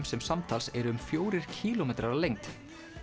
sem samtals eru um fjórir kílómetrar að lengd